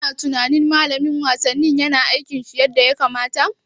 Kana tunanin Malamin wasanni yana aikin shi yadda ya kamata?